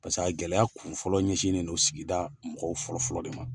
Paseke gɛlɛya kunfɔlɔ ɲɛsinnen don sigida mɔgɔw fɔlɔfɔlɔ de ma.